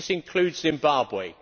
This includes Zimbabwe.